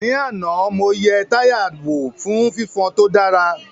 Ní àná, mo yẹ táyà wò fún fifon tó dára